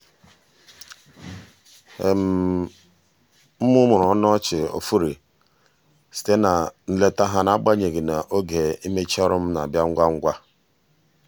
m mụmụrụ ọnụ ọchị ofụri site na nleta ha n'agbanyeghị na oge imecha ọrụ m na-abịa ngwa ngwa.